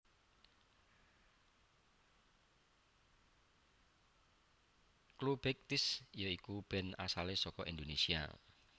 Clubeighties ya iku band asale saka Indonesia